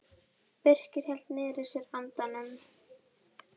Birkir hélt niðri í sér andanum.